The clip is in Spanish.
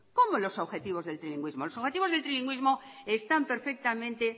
cómo los objetivos del trilingüismo los objetivos del trilingüismo están perfectamente